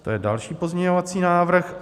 To je další pozměňovací návrh.